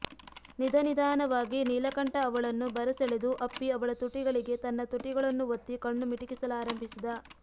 ನಿಧನಿಧಾನವಾಗಿ ನೀಲಕಂಠ ಅವಳನ್ನು ಬರಸೆಳೆದು ಅಪ್ಪಿ ಅವಳ ತುಟಿಗಳಿಗೆ ತನ್ನ ತುಟಿಗಳನ್ನು ಒತ್ತಿ ಕಣ್ಣು ಮಿಟುಕಿಸಲಾರಂಭಿಸಿದ